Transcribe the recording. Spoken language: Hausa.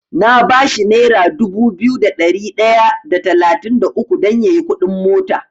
Na bashi nera dubu biyu da ɗari ɗaya da talatin da uku dan yayi kuɗin mota.